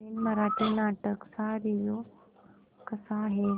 नवीन मराठी नाटक चा रिव्यू कसा आहे